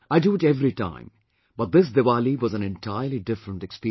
I do it every time, but this Diwali was an entirely different experience